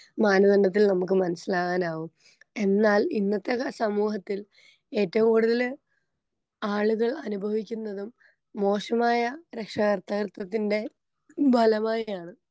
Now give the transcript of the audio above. മാനദണ്ഡത്തിൽ നമുക്ക് മനസ്സിലാകാനാകും എന്നാൽ ഇന്നത്തെ സമൂഹത്തിൽ ഏറ്റോം കൂടുതല് ആളുകൾ അനുഭവിക്കുന്നതും മോശമായ രക്ഷാകർതൃത്വത്തിന്റെ ഫലമായി ആണ്.